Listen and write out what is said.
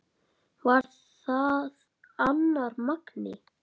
Var það annar Magni?